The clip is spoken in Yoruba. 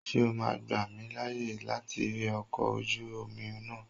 Ṣé o ma gbà mí láyè láti rí ọkọ̀ ojú omi náà?